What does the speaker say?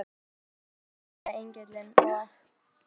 Ég bara trúi þessu ekki, sagði Engillinn, og